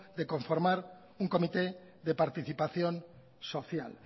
de formar un comité de participación social